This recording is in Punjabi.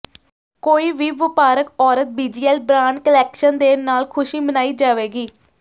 ਕੋਈ ਵੀ ਵਪਾਰਕ ਔਰਤ ਬੀਜੀਐਲ ਬ੍ਰਾਂਡ ਕਲੈਕਸ਼ਨ ਦੇ ਨਾਲ ਖੁਸ਼ੀ ਮਨਾਈ ਜਾਵੇਗੀ